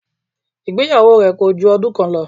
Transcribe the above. Ìgbéyàwó rẹ̀ kòju ọdún kan lọ